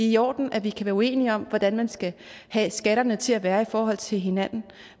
i orden at vi kan være uenige om hvordan man skal have skatterne til at være i forhold til hinanden